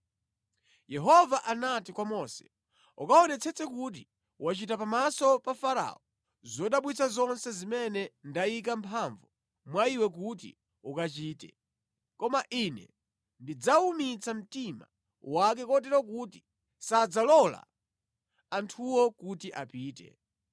Yehova anati kwa Mose, “Ukaonetsetse kuti wachita pamaso pa Farao zodabwitsa zonse zimene ndayika mphamvu mwa iwe kuti ukachite. Koma Ine ndidzawumitsa mtima wake kotero kuti sadzalola anthuwo kuti apite.